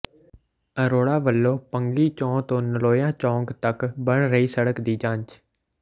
ਅਰੋੜਾ ਵੱਲੋਂ ਭੰਗੀ ਚੋਅ ਤੋਂ ਨਲੋਈਆਂ ਚੌਕ ਤੱਕ ਬਣ ਰਹੀ ਸੜਕ ਦੀ ਜਾਂਚ